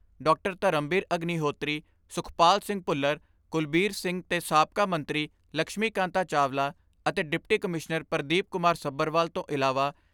ਧਰਮਬੀਰ ਅਗਨੀਹੋਤਰੀ, ਸੁਖਪਾਲ ਸਿੰਘ ਭੁੱਲਰ, ਕੁਲਬੀਰ ਸਿੰਘ ਤੇ ਸਾਬਕਾ ਮੰਤਰੀ ਲਕਸ਼ਮੀ ਕਾਂਤਾ ਚਾਵਲਾ ਅਤੇ ਡਿਪਟੀ ਕਮਿਸ਼ਨਰ ਪਰਦੀਪ ਕੁਮਾਰ ਸੱਭਰਵਾਲ ਤੋਂ ਇਲਾਵਾ ਸੀ.